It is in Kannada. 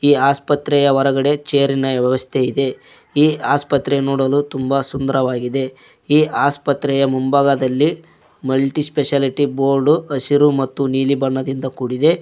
ಈ ಆಸ್ಪತ್ರೆಯ ಹೊರಗಡೆ ಚೇರಿ ನ ವ್ಯವಸ್ಥೆ ಇದೆ ಈ ಆಸ್ಪತ್ರೆ ನೋಡಲು ತುಂಬಾ ಸುಂದರವಾಗಿದೆ ಈ ಆಸ್ಪತ್ರೆಯ ಮುಂಭಾಗದಲ್ಲಿ ಮಲ್ಟಿ ಸ್ಪೆಷಾಲಿಟಿ ಬೋರ್ಡ್ ಹಸಿರು ಮತ್ತು ನೀಲಿ ಬಣ್ಣದಿಂದ ಕೂಡಿದೆ.